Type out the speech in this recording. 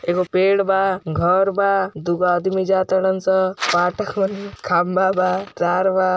एगो पेड़ बा घर बा दुगो आदमी जात बाटन सब खम्भा बा तार बा |